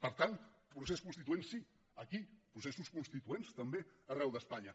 per tant procés constituent sí aquí processos constituents també arreu d’espanya